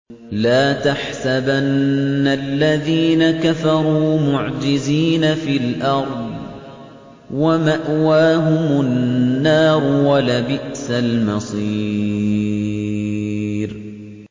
لَا تَحْسَبَنَّ الَّذِينَ كَفَرُوا مُعْجِزِينَ فِي الْأَرْضِ ۚ وَمَأْوَاهُمُ النَّارُ ۖ وَلَبِئْسَ الْمَصِيرُ